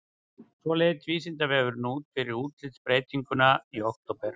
Svona leit Vísindavefurinn út fyrir útlitsbreytinguna í október.